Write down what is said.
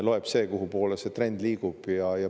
Loeb see, kuhupoole trend liigub.